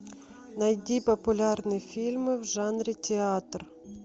найди популярные фильмы в жанре театр